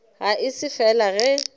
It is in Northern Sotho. ge e se fela ge